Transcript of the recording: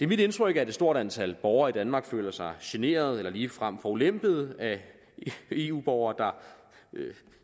mit indtryk at et stort antal borgere i danmark føler sig generet eller ligefrem forulempet af eu borgere der